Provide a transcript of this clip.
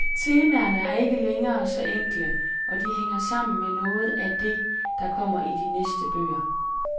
Temaerne er ikke længere så enkle, og de hænger sammen med noget af det, der kommer i de næste bøger.